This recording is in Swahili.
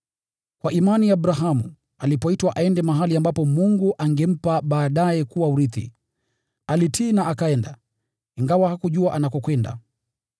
Kwa imani Abrahamu, alipoitwa aende mahali ambapo Mungu angempa baadaye kuwa urithi, alitii na akaenda, ingawa hakujua anakokwenda.